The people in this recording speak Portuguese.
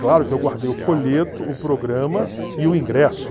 Claro que eu guardei o folheto, o programa e o ingresso.